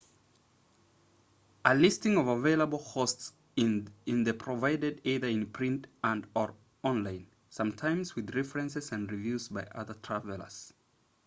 a listing of available hosts is then provided either in print and/or online sometimes with references and reviews by other travelers